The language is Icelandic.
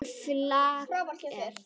Hún falleg.